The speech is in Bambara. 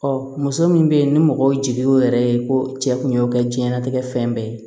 muso min bɛ yen ni mɔgɔw jigi o yɛrɛ ye ko cɛ kun y'o kɛ diɲɛlatigɛ fɛn bɛɛ ye